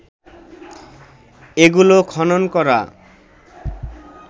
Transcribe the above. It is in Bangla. এগুলো খনন করা